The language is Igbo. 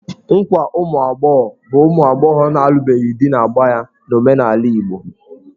Nkwa ụmụ agbọghọ bụ ụmụ agbọghọ na-alụbeghị di na-agba ya n'omenala Igbo.